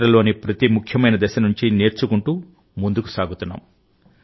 చరిత్రలోని ప్రతి ముఖ్యమైన దశ నుంచి నేర్చుకుంటూ ముందుకు సాగుతున్నాం